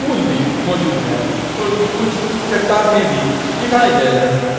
फूल भी मौजूद है और कुछ चट्टानें भी दिखाई दे रही हैं।